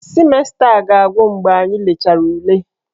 Simesta a ga-agwụ mgbe anyị lechara ule.